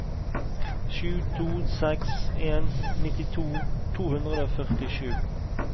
sju to seks en nittito to hundre og førtisju